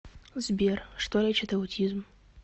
сбер что лечит аутизм